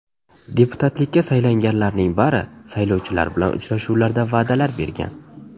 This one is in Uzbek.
Deputatlikka saylanganlarning bari saylovchilar bilan uchrashuvlarda va’dalar bergan.